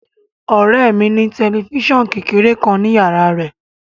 Ọ̀rẹ́ ẹ mi ní tẹ̀lifísàn kékeré kan ni yàrá á rẹ̀